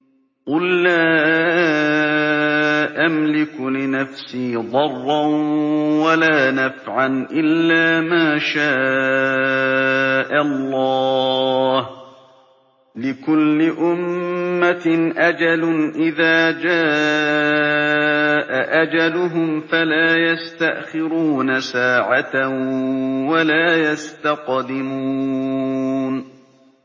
قُل لَّا أَمْلِكُ لِنَفْسِي ضَرًّا وَلَا نَفْعًا إِلَّا مَا شَاءَ اللَّهُ ۗ لِكُلِّ أُمَّةٍ أَجَلٌ ۚ إِذَا جَاءَ أَجَلُهُمْ فَلَا يَسْتَأْخِرُونَ سَاعَةً ۖ وَلَا يَسْتَقْدِمُونَ